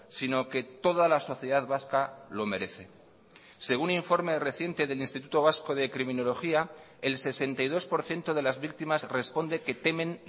sino que toda la sociedad vasca lo merece según informe reciente del instituto vasco de criminología el sesenta y dos por ciento de las víctimas responde que temen